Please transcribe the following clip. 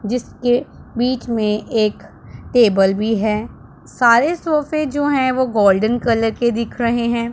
जिसके बीच में एक टेबल भी है। सारे सोफे जो हैं वो गोल्डन कलर के दिख रहे हैं।